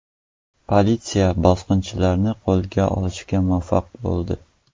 Politsiya bosqinchini qo‘lga olishga muvaffaq bo‘ldi.